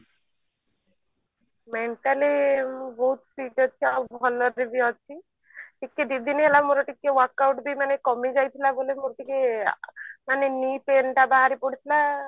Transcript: mentally ମୁଁ ବହୁତ ଆଗ ଅପେକ୍ଷା ଭଲରେ ବି ଅଛି ଟିକେ ଦିଦିନ ହେଲା ମୋର ଟିକେ workout ବି ମାନେ କମି ଯାଇଥିଲା ବୋଲି ମୋର ଟିକେ ମାନେ knee pain ଟା ବାହାରି ପଡିଥିଲା